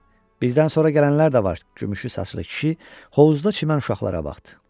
Bizdən sonra gələnlər də var gümüşü saçlı kişi hovuzda çimən uşaqlara baxdı.